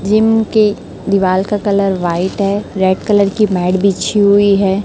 Gym के दीवाल का कलर व्हाइट है रेड कलर की मैट बिछी हुई है।